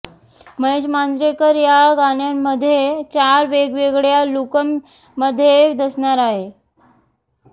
महेश मांजरेकर या गाण्यांमध्ये चार वेगवेगळ्या लूकमध्ये दिसणार आहे